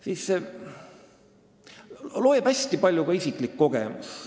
Siin loeb hästi palju ka isiklik kogemus.